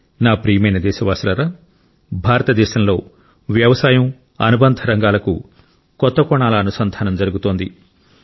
నా ప్రియమైన దేశవాసులారా భారతదేశంలో వ్యవసాయం అనుబంధ రంగాలకు కొత్త కోణాల అనుసంధానం జరుగుతోంది